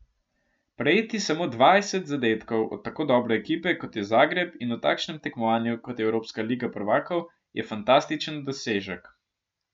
Prejeti samo dvajset zadetkov od tako dobre ekipe, kot je Zagreb, in v takšnem tekmovanju, kot je evropska liga prvakov, je fantastičen dosežek.